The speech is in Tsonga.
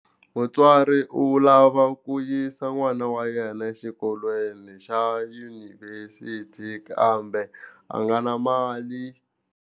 Mutswari u lava ku yisa n'wana wa yena exikolweni xa yunivhesiti kambe a nga na mali.